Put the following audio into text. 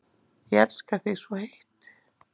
Ég elska þig svo heitt.